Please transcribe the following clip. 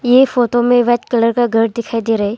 ये फोटो में white colour का घर दिखाई दे रहा है।